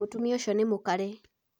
Mũtũmia ũcio nĩ mũkarĩ.